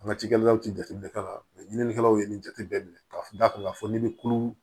An ka cikɛlaw ti jateminɛ ka ɲininikɛlaw ye nin jateminɛ ka da kan ka fɔ ni bɛ kulu